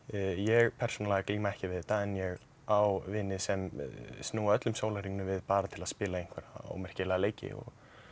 ég persónulega glími ekki við þetta en ég á vini sem snúa öllum sólarhringnum við bara til að spila einhverja ómerkilega leiki og